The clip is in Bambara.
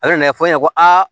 Ale nan'a fɔ i ɲɛna ko aa